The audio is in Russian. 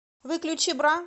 выключи бра